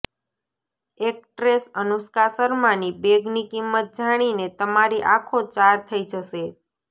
actress Anushka શર્માની બેગની કિંમત જાણીને તમારી આંખો ચાર થઈ જશે